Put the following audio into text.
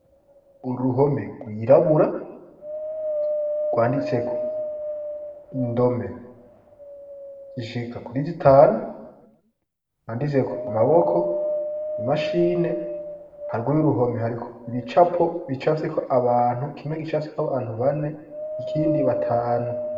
Uruhome rwirabura rwanditseko indome jishika kuriza itanu handitseko amaboko imashine harwa y'uruhome hariko ibicapo bicafeko abantu kimwe gicafseko abantu bane ikindi batanu.